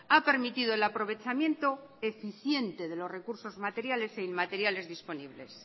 ha permitido el aprovechamiento eficiente de los recursos materiales e inmateriales disponibles